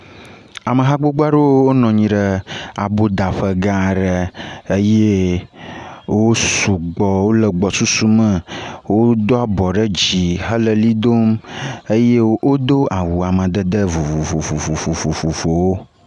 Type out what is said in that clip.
Ameha gbogbo aɖewo nɔ anyi ɖe aboƒoƒegã aɖe eye wo sugbɔ, wole gbɔsusume. Wodo abɔ ɖe dzi hele ʋli dom eye wo awu amadede vovovovovowo.